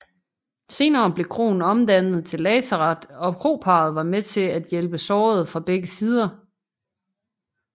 Senere blev kroen omdannet til lazaret og kroparret var med til at hjælpe sårede fra begge sider